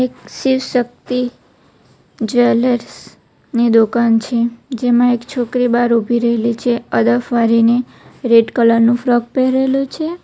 શિવ શક્તિ ની દુકાન છે જેમાં એક છોકરી બાર ઉભી રેલી છે આદફ વાળીને રેડ કલર નું ફ્રૉક પહેરેલો છે.